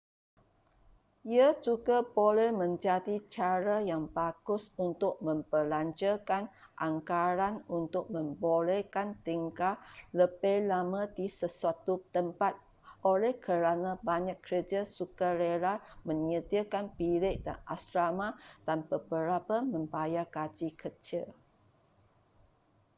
ia juga boleh menjadi cara yang bagus untuk membelanjakan anggaran untuk membolehkan tinggal lebih lama di sesuatu tempat oleh kerana banyak kerja sukarela menyediakan bilik dan asrama dan beberapa membayar gaji kecil